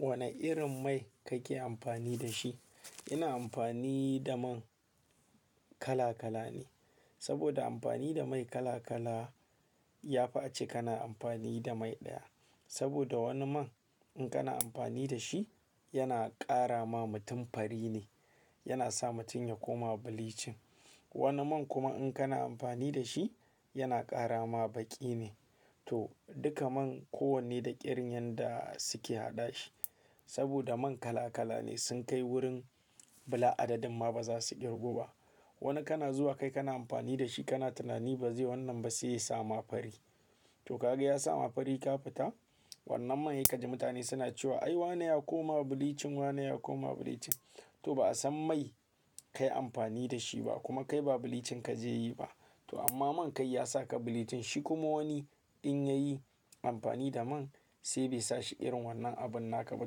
Wane irin mai kake amfani da shi? Ina amfani da man kala kala ne, saboda amfani da mai kala kala ya fi ace kana amfani da mai ɗaya. Saboda wani man in kana amfani da shi, yana ƙara ma mutum fari ne, yana sa mutum ya koma bleaching. Wani man kuma in kana amfani da shi, yana ƙara ma baƙi ne. To, duka man ko wanne da ƙiryan da suke haɗa shi. Saboda man kala kala ne sun kai wurin bila adadin ma baza su girgo ba. Wani kana zuwa kai kana amfani da shi kana tunani ba zai wannan ba sai ya sa ma fari. To kaga ya sa ma fari ka fita, wannan man ya kaji mutane suna cewa "ai, wannan ya koma bleaching, wannan ya koma bleaching". To ba a san mai kayi amfani da shi ba kuma kai ba bleaching kaje yi ba. To amma man kai ya saka bleaching shi kuma wani in yayi amfani da man sai bai sa shi irin wannan abin naka ba.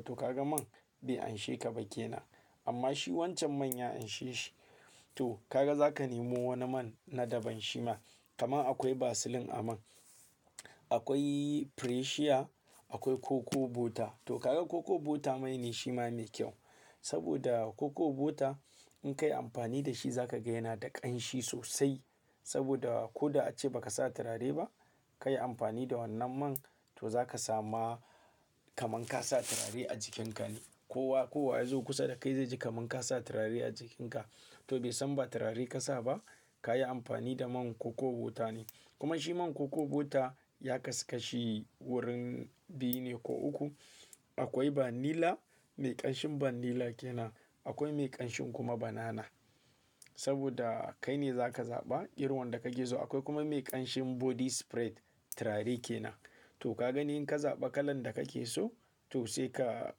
To kaga man bai anshe ka ba ke na, amma shi wancan man ya anshe shi. To kaga zaka nemo wani man na daban shima. Kamar akwai Vaseline a man, akwai Freshia, akwai Cocoa butter. To kaga Cocoa butter man ne shima mai kyau. Saboda Cocoa butter in kayi amfani da shi zakaga yana da ƙanshi sosai. Saboda ko da ace ba ka sa turare ba, kayi amfani da wannan man to zakasama kaman ka sa turare a jikinka ne. Kowa, kowa ya zo kusa dakai zai ji kaman ka sa turare a jikinka. To bai san ba turare ka sa ba, kayi amfani da man Cocoa butter ne. Kuma shi man Cocoa butter ya kasashe wurin biyu ne ko uku. Akwai vanilla, mai ƙanshin vanilla ke na. Akwai mai ƙanshin kuma banana. Saboda kai ne zaka zaɓa ƙirwan da kake so. Akwai kuma mai ƙanshin body spray turare ke na. To kaga ne in ka zaɓa kalan da kake so to sai ka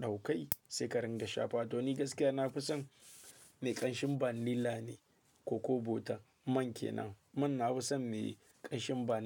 ɗauka sai ka ringa shafa. To ni gaskiya na fi son mai ƙanshin vanilla ne Cocoa butter man ke na. Man na fi son mai ƙanshin van-